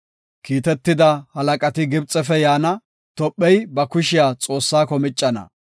Kiitetida halaqati Gibxefe yaana; Tophey ba kushiya Xoossako miccana.